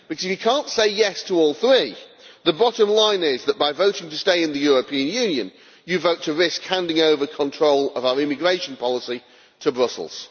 If you cannot say yes to all three, the bottom line is that by voting to stay in the European Union, you vote to risk handing over control of our immigration policy to Brussels.